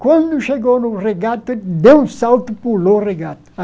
Quando chegou no regato, ele deu um salto e pulou o regato.